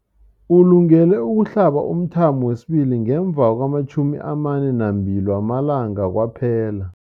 Ulungele ukuhlaba umthamo wesibili ngemva kwama-42 wamalanga kwaphela.